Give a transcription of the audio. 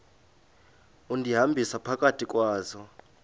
undihambisa phakathi kwazo